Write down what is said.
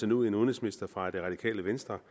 en udenrigsminister fra det radikale venstre